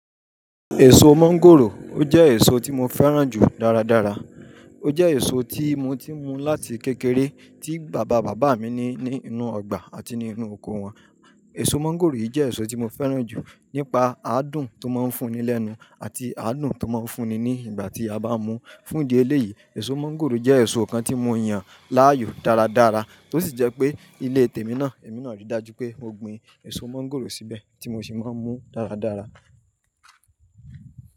Èso mangòrò, ó jẹ́ èso tí mo fẹ́ràn jù dáradára. Ó jẹ́ èso tí mo ti n mú láti kékeré tí bàbá bàbá mi ní ní inú ọgbà àti nínú oko wọn. Èso mangòrò yìí jẹ́ èso tí mo fẹ́ràn jù nípa adùn tó máa ń fún ni lẹ́nu àti adùn tó máa ń fún ni ní ìgbà tí a bá mú fún ìdí eléyìí, èso mańgòrò jẹ́ èso kan tí mo yàn láàyò dáradára tó sì jẹ́ pé ilé tèmi náà, èmi náà rí i dájú pé mo gbin èso mańgòrò síbẹ̀ tí mo sì máa ń mú dáradára.